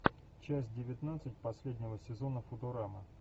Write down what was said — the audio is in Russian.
часть девятнадцать последнего сезона футурама